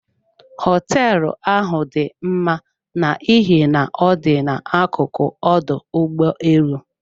Hoteelu ahụ dị mma n'ihi na ọ dị na akuku ọdụ ụgbọ elu.